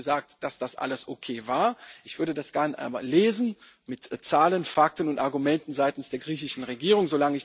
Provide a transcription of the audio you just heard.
Sie hat uns gesagt, dass das alles okay war. Ich würde das gerne einmal lesen, mit Zahlen, Fakten und Argumenten seitens der griechischen Regierung.